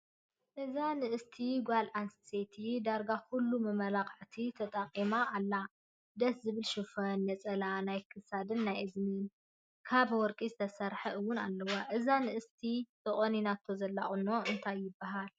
እዛ ንእስቲ ጓል ኣነስተይቲ ዳርጋ ኩሉ መመላክዒ ተጠኪማ ኣላ። ደስ ዝብል ሽፈን፣ ነፀላ፣ ናይ ክሳድን ናይእዝኒን ካብ ወርቂ ዝተሰረሐ እውን ኣለዋ። እዛ ንእስቲ ተቆኒናቶ ዘላ ቁኖ እንታይ ይበሃል ?